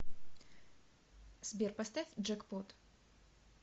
сбер поставь джекпот